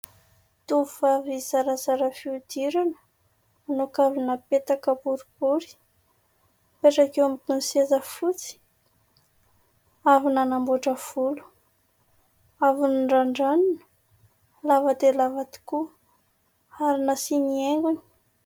Tovovavy zarazara fihodirana manao kavina petaka boribory. Mipetraka eo ambony seza fotsy, avy nanamboatra volo. Avy norandranina, lava dia lava tokoa ary nasiany haingony.